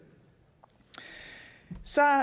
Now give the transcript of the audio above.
så har